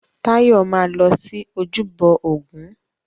Táyọ̀ máa lọ sí ojúbọ ògún.